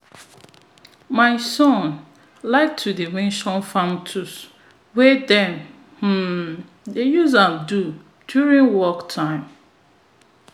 my son like to dey mention farm tools and wetin dem um dey use am do during work time